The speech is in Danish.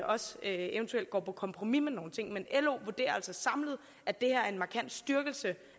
også eventuelt går på kompromis med nogle ting men lo vurderer altså samlet at det her er en markant styrkelse